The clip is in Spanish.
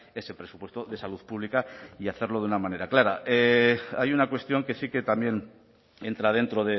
ese presupuesto de salud pública y hacerlo de una manera clara hay una cuestión que sí que también entra dentro